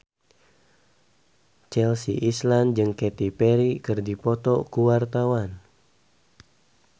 Chelsea Islan jeung Katy Perry keur dipoto ku wartawan